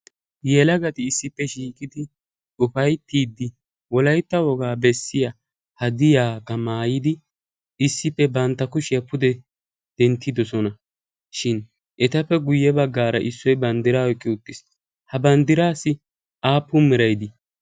yelagati issippe shiiqidi ufayttiidi wollaytta wogaa bessiyaa hadiyaakka maayidi issippe bantta kuushiyaa pude denttidoosonashin . etappe guyye baggaara issoy banddiraa oyqqi woottiis. ha banddiraassi aapun meray dii?